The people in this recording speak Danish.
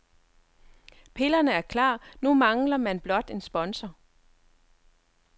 Pillerne er klar, nu mangler man blot en sponsor.